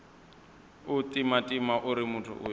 u timatima uri muthu uyo